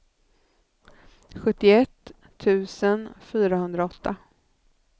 sjuttioett tusen fyrahundraåtta